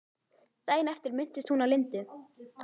Daginn eftir minntist hún á Lindu.